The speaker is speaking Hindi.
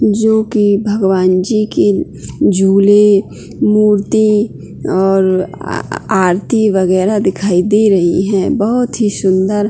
जो की भगवान जी के झूले मूर्ति और आरती वगैरा दिखाई दे रही है बहोत ही सुंदर --